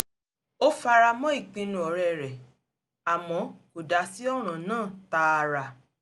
ó fara mọ́ ìpinnu ọ̀rẹ́ rẹ̀ àmọ́ kò dá sí ọ̀ràn náà tààrà